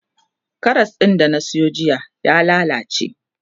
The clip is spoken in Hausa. Karas din da na Sayo jiya ya lallace